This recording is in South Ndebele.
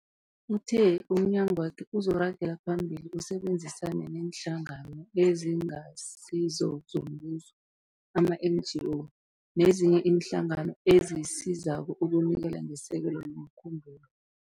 Uthe umnyagwakhe uzoragela phambili usebenzisane neeNhlangano eziNgasizo zoMbuso, ama-NGO, nezinye iinhlangano ezisizako ukunikela ngesekelo lomkhumbulo.